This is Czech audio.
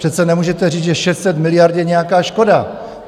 Přece nemůžete říct, že 600 miliard je nějaká škoda!